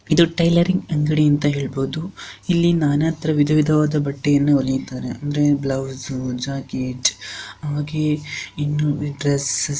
ಇದು ಟೈಲೊರಿಂಗ್ ಅಂಗಿಡಿ ಅಂತ ಹೇಳಬಹುದು ಇಲ್ಲಿ ನಾನಾ ತರವಾದ ಬಟ್ಟೆಯನ್ನು ಒಳಿತಾನೆ ಅಂದ್ರೆ ಬ್ಲೌಸ್ ಜಾಕೆಟ್ ಹಾಗೆ ಇನ್ನು ಡ್ರೆಸ್ --